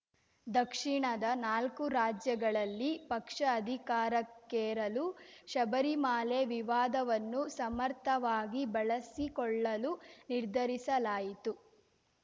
ದಕ್ಷಿಣದ ನಾಲ್ಕು ರಾಜ್ಯಗಳಲ್ಲಿ ಪಕ್ಷ ಅಧಿಕಾರಕ್ಕೇರಲು ಶಬರಿಮಾಲೆ ವಿವಾದವನ್ನು ಸಮರ್ಥವಾಗಿ ಬಳಸಿಕೊಳ್ಳಲು ನಿರ್ಧರಿಸಲಾಯಿತು